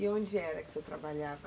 E onde era que o senhor trabalhava?